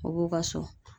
U b'u ka so